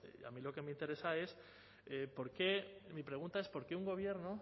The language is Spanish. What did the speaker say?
a mí lo que me interesa es mi pregunta es por qué un gobierno